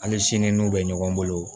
Hali sini n'u bɛ ɲɔgɔn bolo